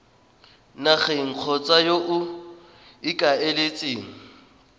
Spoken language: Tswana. nageng kgotsa yo o ikaeletseng